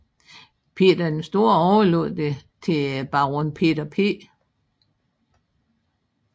Peter den Store overlod det til Baron Peter P